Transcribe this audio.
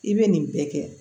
I bɛ nin bɛɛ kɛ